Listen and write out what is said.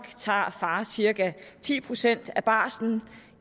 tager far cirka ti procent af barslen